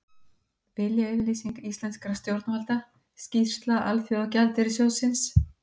Viljayfirlýsing íslenskra stjórnvalda Skýrsla Alþjóðagjaldeyrissjóðsins